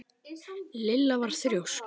Lilla var þrjósk.